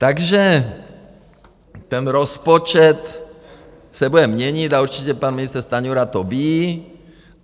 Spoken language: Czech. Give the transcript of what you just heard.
Takže ten rozpočet se bude měnit a určitě pan ministr Stanjura to ví.